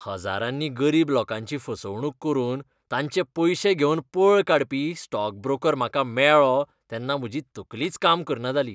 हजारांनी गरीब लोकांची फसवणूक करून तांचे पयशे घेवन पळ काडपी स्टॉक ब्रोकर म्हाका मेळ्ळो तेन्ना म्हजी तकलीच काम करना जाली.